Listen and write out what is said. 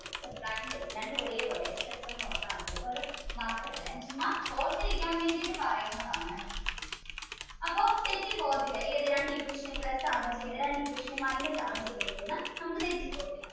രണ്ടു ഒരേ പോലെ എന്ന് ഒർത്ത മതി അപ്പൊ അത് മറക്കത്തില്ല ചുമ്മാ ഓർത്തിരിക്കാൻ വേണ്ടീട്ട പറയുന്നത് കേട്ടോ അപ്പൊ തെറ്റി പോവ്വതില്ല ഏത് രണ്ട് equation plus ആണോ ചെയ്യേണ്ടത് രണ്ട് equation minus ആണോ ചെയ്യേണ്ടത്